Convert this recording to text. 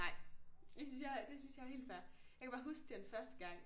Nej det synes jeg det synes jeg er helt fair jeg kan bare huske den første gang